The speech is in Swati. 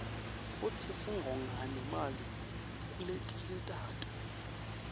futsi singonga nemali kuletinye tato